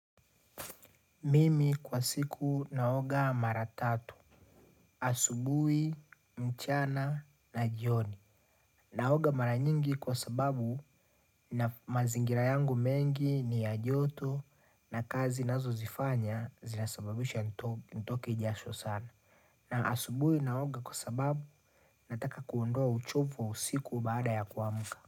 Mimi kwa siku naoga mara tatu. Asubuhi, mchana, na jioni. Naoga mara nyingi kwa sababu na mazingira yangu mengi ni ya joto na kazi nazo zifanya zinasababisha nito nitoke jasho sana. Na asubuhi naoga kwa sababu nataka kuondoa uchovu wa usiku baada ya kuamka.